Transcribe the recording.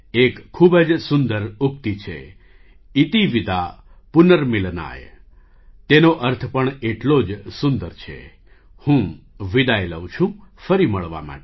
એક ખૂબ જ સુંદર ઉક્તિ છે 'ઇતિ વિદા પુનર્મિલનાય' તેનો અર્થ પણ એટલો જ સુંદર છે હું વિદાય લઉં છું ફરી મળવા માટે